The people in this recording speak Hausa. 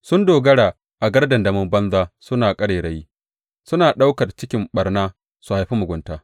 Sun dogara a gardandamin banza suna ƙarairayi; suna ɗaukar cikin ɓarna, su haifi mugunta.